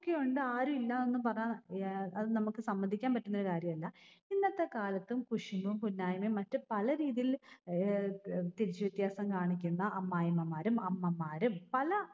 ഒക്കെ ഉണ്ട്. ആരും ഇല്ലാന്ന് പറ ഏർ അത് നമ്മക്ക് സമ്മതിക്കാൻ പറ്റുന്നൊരു കാര്യം അല്ല. ഇന്നത്തെ കാലത്തും കുശുമ്പും കുന്നയ്മേം മറ്റ് പലരീതിയില് ഏർ തിരിച്ച വ്യത്യാസം കാണിക്കുന്ന അമ്മായിഅമ്മമാരും അമ്മമാരും പല